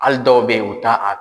Hali dɔw bɛ yen u t'a.